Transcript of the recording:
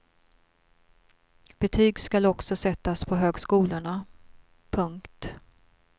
Betyg skall också sättas på högskolorna. punkt